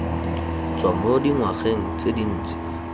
tswa mo dingwageng tse dintsi